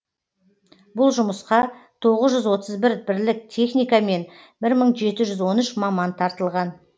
бұл жұмысқа тоғыз жүз отыз бір бірлік техника мен бір мың жеті жүз он үш маман тартылған